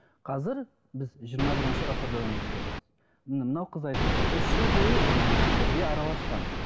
қазір біз жиырма бірінші ғасырда өмір сүреміз міне мынау қыз айтып отыр үш жыл бойы ыыы бірге араласқан